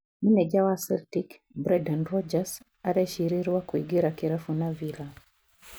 Maneja wa Celtic Brendan Rodgers arecirirwa kũingira kirabu na Villa